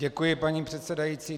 Děkuji, paní předsedající.